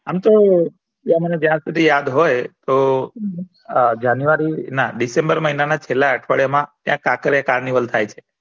આમ તો મને જ્યાં સુધી યાદ હોય તો આ january ના february છેલા અઠવાડિયા માં ત્યાં ખાખરીયા કાર્નિવલ થાય છે